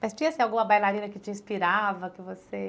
Mas tinha assim alguma bailarina que te inspirava, que você